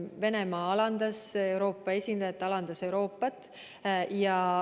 Venemaa alandas Euroopa esindajat, alandas Euroopat.